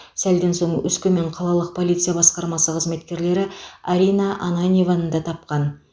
сәлден соң өскемен қалалық полиция басқармасы қызметкерлері арина ананьеваны тапқан